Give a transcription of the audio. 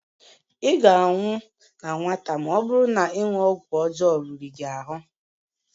Ị ga-anwụ na nwata ma ọ bụrụ na ịṅụ ọgwụ ọjọọ riri gị ahụ